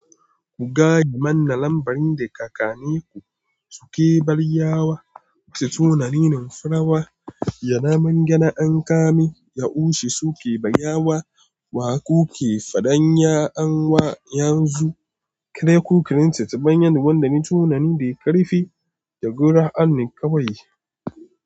Ku gadi manna lambarin da tsakannin ku suke bayyanarwa, Tunanin farawa, ya namangyane an kamin yaushe suke bayyanarwa, wa kuke faɗan ya an wa yanzu, kuna kukarin ta bayan wanda ne tunani da ƙarfi da gura an kaiwa yi.